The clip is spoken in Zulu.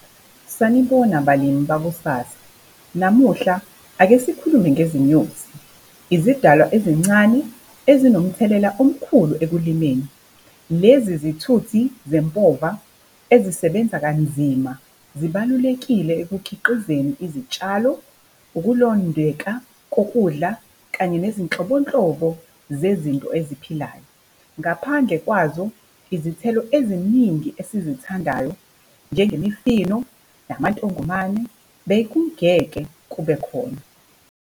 Sanibona, balimi bakusasa. Namuhla, ake sikhulume ngezinyoni. Izidalwa ezincane, ezinomthelela omkhulu ekulimeni. Lezi zithuthi zempova ezisebenza kanzima zibalulekile ekukhiqizeni izitshalo, ukulondeka kokudla kanye nezinhlobonhlobo zezinto eziphilayo. Ngaphandle kwazo, izithelo eziningi esizithandayo, njengemifino, amantongomane, bekungeke kubekhona.